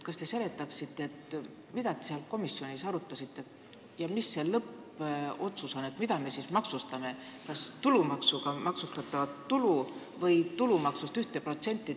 Kas te seletaksite, mida te komisjonis arutasite ja mis see lõppotsus on: mida me siis maksustame, kas tulumaksuga maksustatavat tulu või 1% tulumaksust?